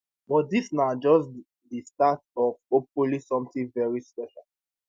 but dis na just di start of hopefully sometin veri special